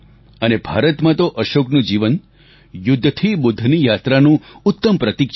અને ભારતમાં તો અશોકનું જીવન યુદ્ધથી બુદ્ધની યાત્રાનું ઉત્તમ પ્રતિક છે